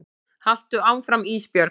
Haltu áfram Ísbjörg.